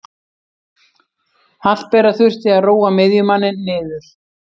Hallbera þurfti að róa miðjumanninn niður.